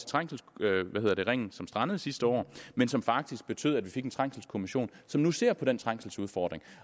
trængselsringen som strandede sidste år men som faktisk betød at vi fik en trængselskommission som nu ser på den trængselsudfordring